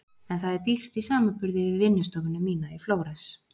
En það er dýrt í samanburði við vinnustofuna mína í Flórens.